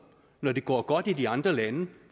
når det går godt i de andre lande